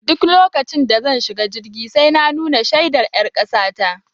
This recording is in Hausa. Duk lokacin da zan shiga jirgi sai na nuna shaidar ƴar kasa ta